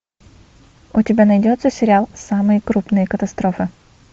у тебя найдется сериал самые крупные катастрофы